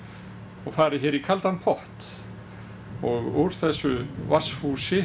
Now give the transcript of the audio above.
og farið hér í kaldan pott og úr þessu